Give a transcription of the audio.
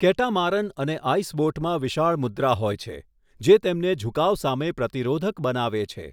Catamaran અને આઈસબોટમાં વિશાળ મુદ્રા હોય છે જે તેમને ઝુકાવ સામે પ્રતિરોધક બનાવે છે.